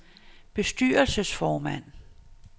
bestyrelsesformand